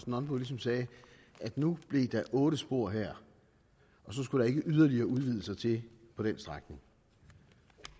nonbo ligesom sagde at nu blev der otte spor her og så skulle der ikke yderligere udvidelser til på den strækning